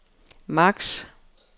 max